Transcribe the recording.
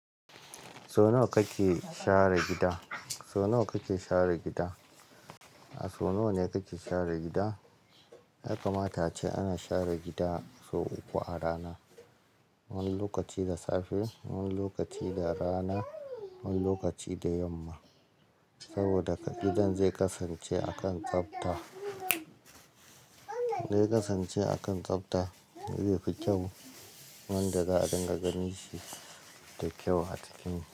Sau nawa kake share gida? Sau nawa kake share gida? A sau nawa ne kake share gida? Ya kamata ace ana share gida sau uku a rana. Wani lokaci da safe, wani lokaci da rana, wani lokaci da yamma. Saboda gidan zai kasance a kan tsafta, zai kasance a kan tsafta, zai fi kyau. Wanda za a dinga gani shi da kyau a cikin.